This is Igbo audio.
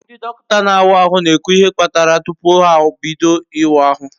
Ndi dokinta na awa ahu na ekwu ihe kparaya tupu ha bido iwa ahu